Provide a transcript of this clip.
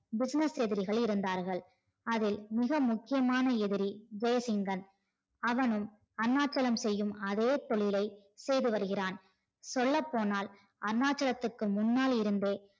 business எதிரிகள் இருந்தார்கள் அதில் மிக முக்கியமான எதிரி ஜெசிங்கன் அவனும் அருணாச்சலம் செய்யும் அதே தொழிலை செய்து வருகிறான் சொல்ல போனால் அருணாச்சலத்துக்கு முன்னாள் இருந்து